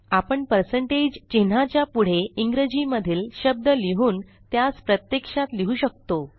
आपण चिन्हाच्या पुढे इंग्रजी मधील शब्द लिहून त्यास प्रत्यक्षात लिहु शकतो